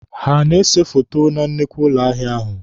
Ha a na-ese foto na nnukwu ụlọ ahịa ahụ?